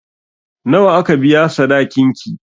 Nawa aka biya sadakin ki?